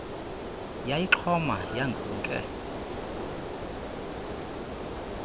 yayixhoma yangu nke